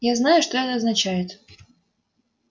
я знаю что это означает